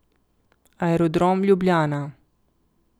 Aerodrom Ljubljana.